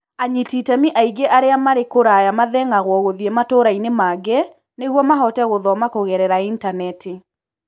anyiti iteme aigĩ arĩa marĩ kũraya mathĩng'agwo gũthiĩ matũrainĩ mangĩ nĩguo mahote gũthoma kũgerera intaneti.